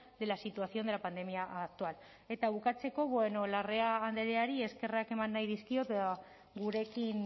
de la situación de la pandemia actual eta bukatzeko bueno larrea andreari eskerrak eman nahi dizkiot gurekin